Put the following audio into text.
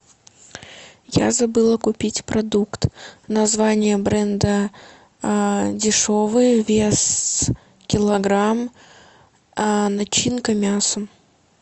я забыла купить продукт название бренда дешевый вес килограмм начинка мясо